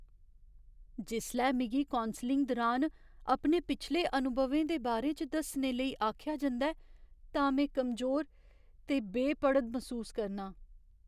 जिसलै मिगी कौंसलिंग दुरान अपने पिछले अनुभवें दे बारे च दस्सने लेई आखेआ जंदा ऐ तां में कमजोर ते बेपड़द मसूस करनां।